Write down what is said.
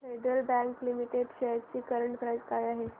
federal bank limited shares ची current price काय आहे